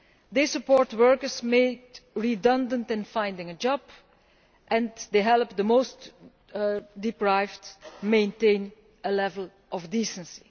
They support workers made redundant to find jobs, and they help the most deprived maintain a level of decency.